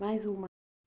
Mais uma.